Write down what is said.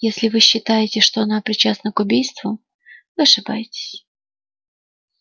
если вы считаете что она причастна к убийству вы ошибаетесь